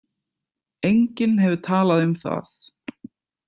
Enginn hefur talað um það.